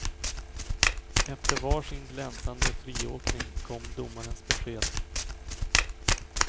Efter varsin glänsande friåkning kom domarnas besked.